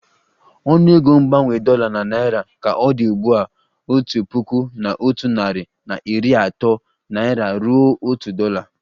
Ọnụego mgbanwe dollar na naira ka ọ dị ugbu a otu puku na otu nari na iri ato naira ruo otu dolla